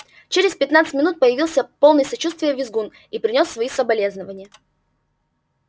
через пятнадцать минут появился полный сочувствия визгун и принёс свои соболезнования